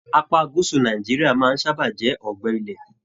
Apá gúúsù Nàìjíríà máa n sábà jẹ ọgbẹ ilẹ́.